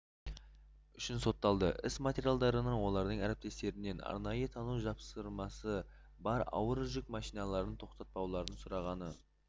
үшін сотталды іс материалдарынан олардың әріптестерінен арнайы тану жапсырмасы бар ауыр жүк машиналарын тоқтатпауларын сұрағаны